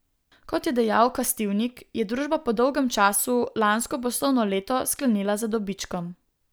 Kot je dejal Kastivnik, je družba po dolgem času lansko poslovno leto sklenila z dobičkom.